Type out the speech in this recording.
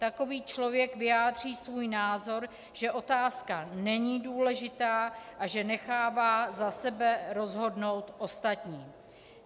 Takový člověk vyjádří svůj názor, že otázka není důležitá a že nechává za sebe rozhodnout ostatní.